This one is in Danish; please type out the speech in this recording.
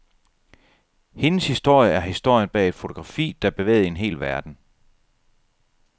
Hendes historie er historien bag et fotografi, der bevægede en hel verden.